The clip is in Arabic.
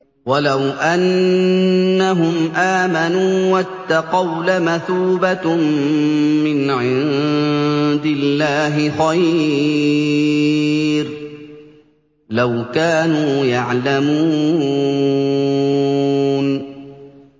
وَلَوْ أَنَّهُمْ آمَنُوا وَاتَّقَوْا لَمَثُوبَةٌ مِّنْ عِندِ اللَّهِ خَيْرٌ ۖ لَّوْ كَانُوا يَعْلَمُونَ